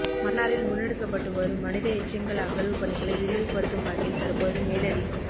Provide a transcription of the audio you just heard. மன்னாரில் முன்னெடுக்கப்பட்டுவரும் மனித எச்சங்கள் அகழ்வு பணிகளை விரைவுபடுத்தும் வகையில் தற்போது மேலதி